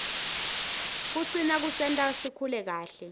kucina kusenta sikhule kahle